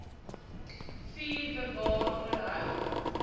vier bewaar onderhou